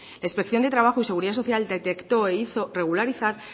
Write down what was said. la inspección de trabajo y seguridad social detectó e hizo regularizar